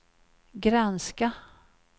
granska